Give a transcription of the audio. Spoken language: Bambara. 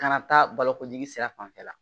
Kana taa balokojigin sira fanfɛ la